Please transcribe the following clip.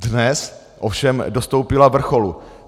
Dnes ovšem dostoupila vrcholu.